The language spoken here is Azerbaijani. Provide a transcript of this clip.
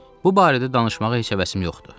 Bu barədə danışmağa heç həvəsim yoxdur.